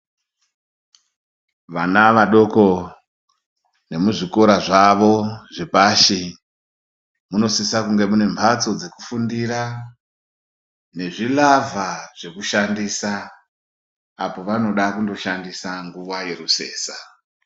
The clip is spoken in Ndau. Vana vadoko vemuzvikora zvavo zvepashi munosisa kunge mune mbatso dzekufundira nezvi ravha zvekushandisa apo vanoda kushandisa munguwa yerusesa.